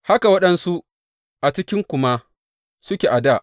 Haka waɗansu a cikinku ma suke a dā.